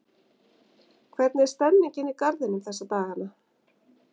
Hvernig er stemmningin í Garðinum þessa dagana?